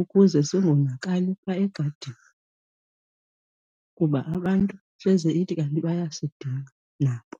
ukuze singonakali phaa egadini, kuba abantu hleze ithi kanti bayasidinga nabo.